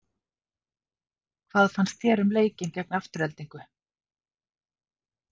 Hvað fannst þér um leikinn gegn Aftureldingu?